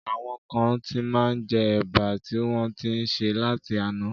Àwọn kán ti má njẹ Ẹ̀bà tí wọ́n ń ti sè láti àná.